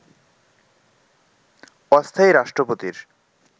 অস্থায়ী রাষ্ট্রপতির